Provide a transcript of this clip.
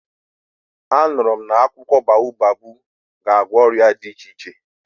A nụrụ m na akwụkwọ baobabu ga-agwọ ọrịa dị iche iche.